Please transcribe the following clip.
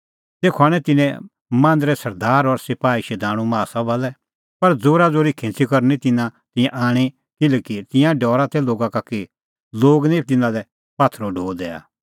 तेखअ आणै तिन्नैं मांदरे सरदार और सपाही शधाणूं माहा सभा लै पर ज़ोराज़ोरी खिंच़ी करै निं तिन्नैं तिंयां आणी किल्हैकि तिंयां डरा तै लोगा का कि लोग निं तिन्नां लै पात्थरो ढो दैआ